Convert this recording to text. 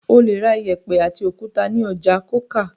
O le ra ìyẹ̀pẹ̀ àti òkúta ní ọjà Coker.